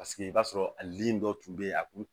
Paseke i b'a sɔrɔ a lili dɔ tun bɛ yen a tun